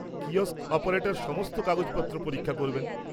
Kiosk operator সমস্ত কাগজপত্র পরীক্ষা করবেন।